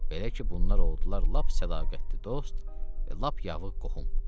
Belə ki, bunlar oldular lap sədaqətli dost və lap yavıq qohum.